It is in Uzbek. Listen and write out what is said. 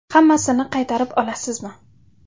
Hammasini qaytarib olasizmi?